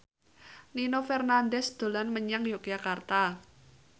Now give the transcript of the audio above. Nino Fernandez dolan menyang Yogyakarta